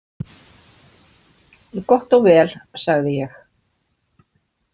Gott og vel, sagði ég.